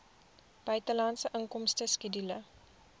buitelandse inkomste skedule